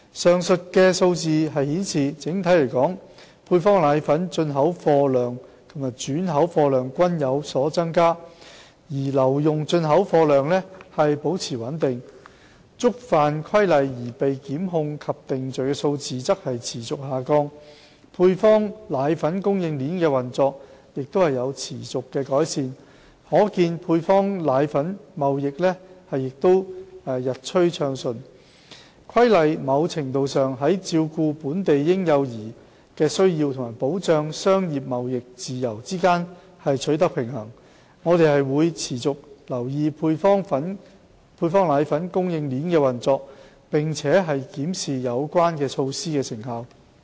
上述數字顯示，整體來說配方粉進口貨量及轉口貨量均有所增加，而留用進口貨量保持穩定，觸犯《規例》而被檢控及定罪的數字則持續下降，配方粉供應鏈的運作亦持續改善，可見配方粉貿易日趨暢順，《規例》某程度上在照顧本地嬰幼兒需求及保障商業貿易自由之間取得平衡，我們會持續留意配方粉供應鏈的運作，並檢視有關的措施成效。